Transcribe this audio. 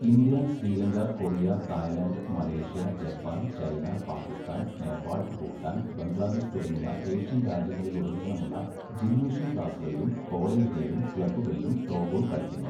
India, Sri Lanka, Korea, Thailand, Malaysia, Japan, China, Pakistan, Nepal, Bhutan, Bangladesh തുടങ്ങിയ Asian രാജ്യങ്ങളിലുടനീളമുള്ള gymnasium ക്ലാസുകളിലും കോളേജുകളിലും ക്ലബ്ബുകളിലും throwball കളിക്കുന്നു.